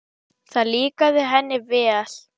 Það líkaði henni vel.